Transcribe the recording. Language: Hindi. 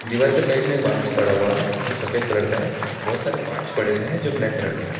दीवार के साइड में बाल्टी पड़ा हुआ है जो सफेद कलर का है बहुत सारे पार्ट्स पड़े हुए हैं जो ब्लैक कलर के हैं।